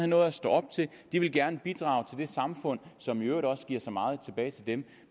noget at stå op til de vil gerne bidrage til det samfund som i øvrigt også giver så meget tilbage til dem